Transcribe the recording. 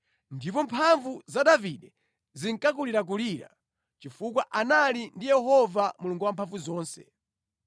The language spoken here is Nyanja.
Ndipo mphamvu za Davide zinkakulirakulira chifukwa anali ndi Yehova Mulungu Wamphamvuzonse.